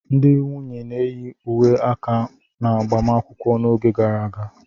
Ndị nwunye na-eyi uwe aka n'agbamakwụkwọ n'oge gara aga.